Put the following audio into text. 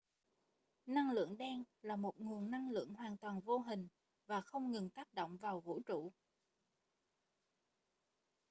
năng lượng đen là một nguồn năng lượng hoàn toàn vô hình và không ngừng tác động vào vũ trụ